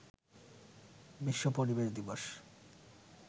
বিশ্ব পরিবেশ দিবস